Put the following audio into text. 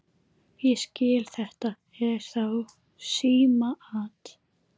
Ég skil. þetta er þá símaat!